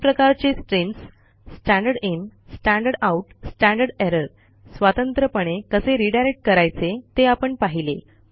तीन प्रकारचे streams standard in standard out standard error स्वतंत्रपणे कसे रीडायरेक्ट करायचे ते आपण पाहिले